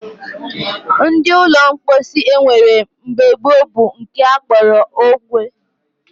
Ụdị ụlọ mposi e nwere mgbe gboo bụ nke a kpọrọ ogwe